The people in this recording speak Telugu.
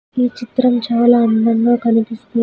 ఈ చిత్రం చాలా అందంగా కనిపిస్తూ--